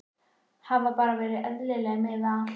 Hafi bara verið eðlileg miðað við allt.